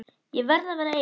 Ég verð að vera ein.